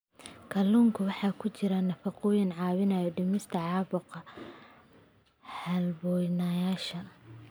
Kalluunka waxaa ku jira nafaqooyin caawiya dhimista caabuqa halbowlayaasha.